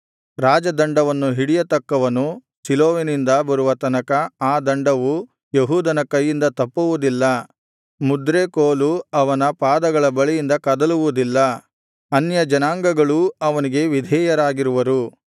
ರಾಜದಂಡವನ್ನು ಹಿಡಿಯತಕ್ಕವನು ಶಿಲೋವಿನಿಂದ ಬರುವ ತನಕ ಆ ದಂಡವು ಯೆಹೂದನ ಕೈಯಿಂದ ತಪ್ಪುವುದಿಲ್ಲ ಮುದ್ರೆ ಕೋಲು ಅವನ ಪಾದಗಳ ಬಳಿಯಿಂದ ಕದಲುವುದಿಲ್ಲ ಅನ್ಯಜನಾಂಗಗಳೂ ಅವನಿಗೆ ವಿಧೇಯರಾಗಿರುವರು